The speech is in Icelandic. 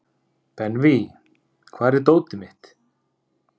Benvý, hvar er dótið mitt?